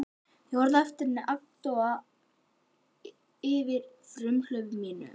Ég horfði á eftir henni agndofa yfir frumhlaupi mínu.